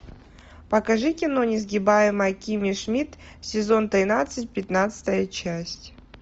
покажи кино несгибаемая кимми шмидт сезон тринадцать пятнадцатая часть